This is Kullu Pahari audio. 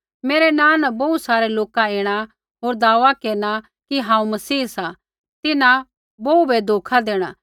मेरै नाँ न बोहू सारै लोका ऐणा होर दावा केरना कि हांऊँ मसीह सा तिन्हां बोहू बै धोखा देणा